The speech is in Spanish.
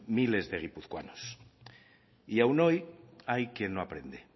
miles de guipuzcoanos y aun hoy hay quien no aprende